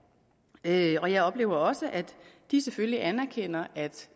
til og jeg oplever også at de selvfølgelig anerkender at